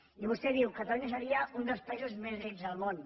i vostè diu catalunya seria un dels països més rics del món